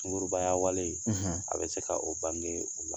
Sugurubaya wale; ; A bɛ se ka oo bange o